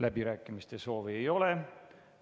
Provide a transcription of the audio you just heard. Läbirääkimiste soovi ei ole.